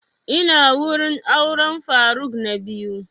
Ina wurin auren faruk na biyu